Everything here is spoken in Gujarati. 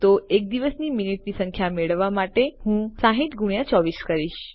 તો એક દિવસની મિનિટની સંખ્યા મેળવવા માટે હું 60 ગુણ્યા 24 કરીશ